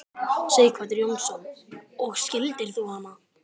Sighvatur Jónsson: Og skildir þú hana?